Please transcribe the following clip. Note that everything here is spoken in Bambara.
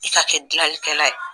I ka kɛ dilanlikɛla ye